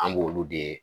An b'olu de